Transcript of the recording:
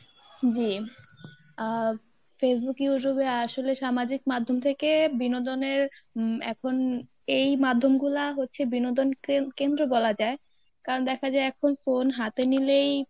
জী আহ Facebook Youtube এ আসলে সামাজিক মাধ্যম থেকে বিনোদনের উম এখন এই মাধ্যমগুলা হচ্ছে বিনোদন কেন~ কেন্দ্র বলা যায়, কারণ দেখা যায় এখন phone হাতে নিলেই